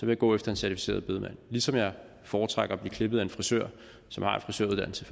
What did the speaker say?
vil gå efter en certificeret bedemand ligesom jeg foretrækker at blive klippet af en frisør som har en frisøruddannelse